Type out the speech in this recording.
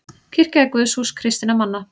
Kirkja er guðshús kristinna manna.